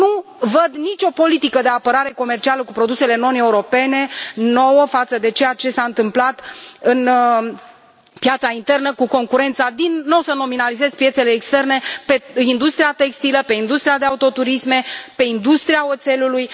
Nu văd nicio politică de apărare comercială față de produsele non europene, nouă, față de ceea ce s a întâmplat în piața internă cu concurența din nu voi nominaliza piețele externe pe industria textilă, pe industria de autoturisme, pe industria oțelului.